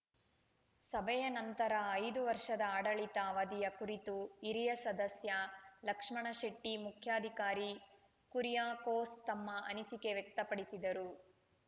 ಸಭೆಯ ನಂತರ ಐದು ವರ್ಷದ ಆಡಳಿತ ಅವದಿಯ ಕುರಿತು ಹಿರಿಯ ಸದಸ್ಯ ಲಕ್ಷ್ಮಣಶೆಟ್ಟಿ ಮುಖ್ಯಾಧಿಕಾರಿ ಕುರಿಯಾಕೋಸ್‌ ತಮ್ಮ ಅನಿಸಿಕೆ ವ್ಯಕ್ತಪಡಿಸಿದರು